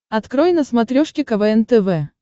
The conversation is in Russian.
открой на смотрешке квн тв